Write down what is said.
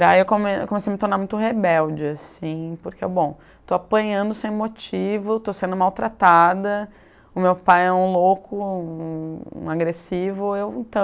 Daí eu come comecei a me tornar muito rebelde, assim, porque, bom, estou apanhando sem motivo, estou sendo maltratada, o meu pai é um louco, um um agressivo, eu então...